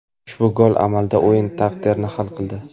Ushbu gol amalda o‘yin taqdirini hal qildi.